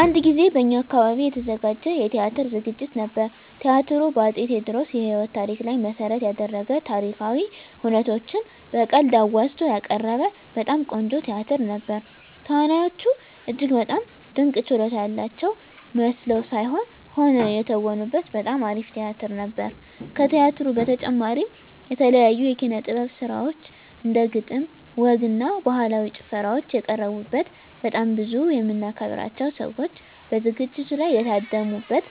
አንድ ጊዜ በእኛ አካባቢ የተዘጋጀ የቲያትር ዝግጅት ነበር። ቲያትሩ በ አፄ ቴዎድሮስ የህይወት ታሪክ ላይ መሰረት የደረገ ታሪካዊ ሁነቶችን በቀልድ አዋዝቶ ያቀረበ በጣም ቆንጆ ቲያትር ነበር። ተዋናዮቹ እጅግ በጣም ድንቅ ችሎታ ያላቸው መስለው ሳይሆን ሆነው የተወኑበት በጣም አሪፍ ቲያትር ነበር። ከቲያትሩ በተጨማሪም የተለያዩ የኪነ - ጥበብ ስራዎች እንደ ግጥም፣ ወግ እና ባህላዊ ጭፈራዎች የቀረቡበት በጣም ብዙ የምናከብራቸው ሰዎች በዝግጅቱ ላይ የታደሙ በት